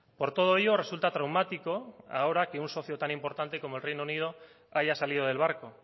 por todo ello resulta traumático ahora que un socio tan importante como el reino unido haya salido del barco